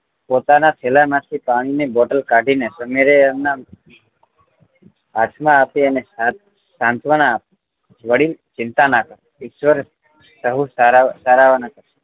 પોતાનાં થેલા માંથી પાણી ની બોટલ કાઢી ને સમીરે એમને હાથ માં આપી અને સાંત્વનનાં આપી વડીલ ચિંતા ના કર ઈશ્વર સહુ સારા વાના કરશે